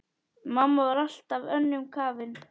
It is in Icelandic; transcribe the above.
Mamma var alltaf önnum kafin.